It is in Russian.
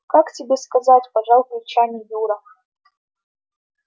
как тебе сказать пожал плечами юра